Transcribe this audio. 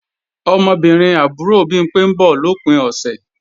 Ọmọbìnrin àbúrò Bimpé ń bọ̀ lòpin ọ̀sẹ̀